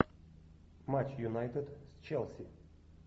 матч юнайтед с челси